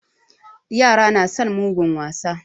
Yara na son mugun wasa.